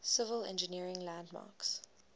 civil engineering landmarks